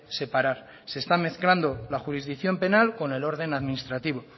separar se están mezclando la jurisdicción penal con el orden administrativo